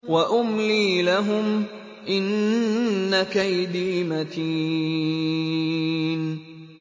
وَأُمْلِي لَهُمْ ۚ إِنَّ كَيْدِي مَتِينٌ